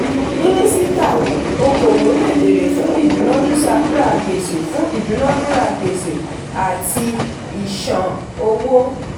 mínísítà okoòwò lè bẹ̀rẹ̀ fún ìdunadura gbèsè fún ìdunadura gbèsè àti ìṣán owó.